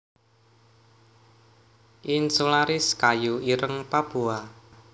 insularis kayu ireng Papua